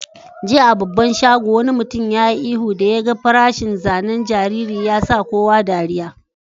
Jiya a babban shagon, wani mutum ya yi ihu da ya gan farashin zanen jariri. Ya sa kowa dariyya.